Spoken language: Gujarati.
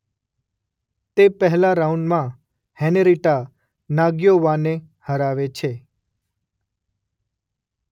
તે પહેલા રાઉન્ડમાં હેનરીટા નાગ્યોવાને હરાવે છે